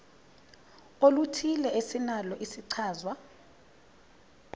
oluthile esinalo isichazwa